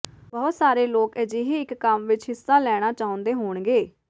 ਬਹੁਤ ਸਾਰੇ ਲੋਕ ਅਜਿਹੇ ਇਕ ਕੰਮ ਵਿਚ ਹਿੱਸਾ ਲੈਣਾ ਚਾਹੁੰਦੇ ਹੋਣਗੇ